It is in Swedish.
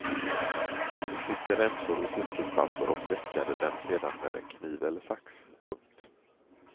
De klippte remsor i silkespapper och veckade dem sedan med en kniv eller sax. punkt